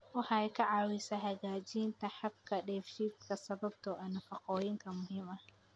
Waxay ka caawisaa hagaajinta habka dheefshiidka sababtoo ah nafaqooyinka muhiimka ah.